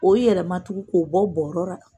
O yɛlɛma tugun k'o bɔ gɔngɔ la.